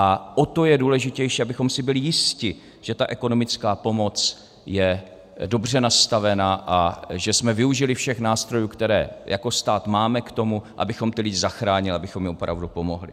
A o to je důležitější, abychom si byli jisti, že ta ekonomická pomoc je dobře nastavená a že jsme využili všech nástrojů, které jako stát máme k tomu, abychom ty lidi zachránili, abychom jim opravdu pomohli.